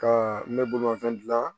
Ka n bɛ bolimafɛn dilan